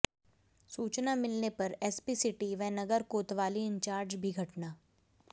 सूचना मिलने पर एसपी सिटी व नगर कोतवाली इंचार्ज भी घटना